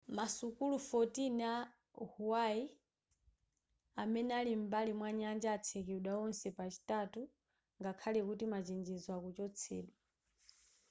masukulu 14 ku hawaii amene ali m'bali mwanyanja atsekedwa onse pa chitatu ngakhale kuti machenjezo akuchotsedwa